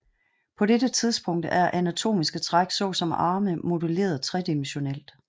På dette tidspunkt er anatomiske træk såsom arme modelleret tredimensionelt